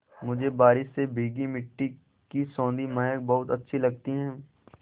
मुझे बारिश से भीगी मिट्टी की सौंधी महक बहुत अच्छी लगती है